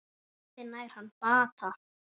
Vonandi nær hann bata.